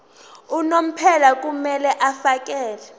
unomphela kumele afakele